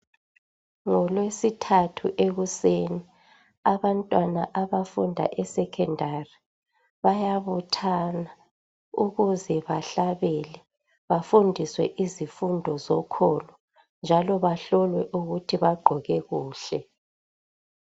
Ngolwesithathu ekuseni, abantwana abafunda eSecondary bayabuthana ukuze bahlabele, bafundiswe izifundo zokholo njalo bahlolwe ukuthi bagqoke kuhle.